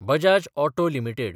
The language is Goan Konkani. Bajaj auto limited